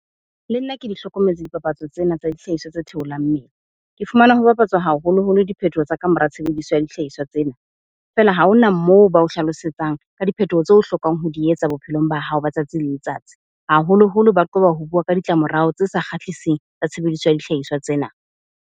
Le nna ke di hlokometse dipapatso tsena tsa dihlahiswa tse theolang mmele. Ke fumana ho bapatswa haholoholo diphethoho tsa ka mora tshebediso ya dihlahiswa tsena. Feela ha hona moo ba o hlalosetsang ka diphethoho tseo o hlokang ho di etsa bophelong ba hao ba tsatsi le letsatsi. Haholoholo ba qoba ho bua ka ditlamorao tse sa kgahliseng tsa tshebediso ya dihlahiswa tsena.